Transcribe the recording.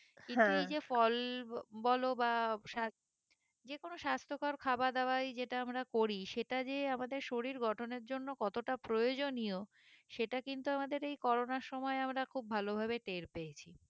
কিন্তু এই যে ফল বলো বা সা যে কোনো সাস্থকর খাবা দাওয়াই যেটা আমরা করি সেটা যে আমাদের শরীর গঠনের জন্য কতটা প্রয়োজনীয় সেটা কিন্তু আমাদের এই করোনার সময় আমরা খুব ভালো ভাবে টের পেয়েছি